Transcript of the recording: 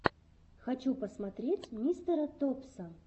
хочу посмотреть мистера топса